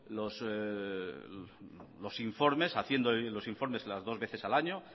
los informes haciendo bien los informes las dos veces al año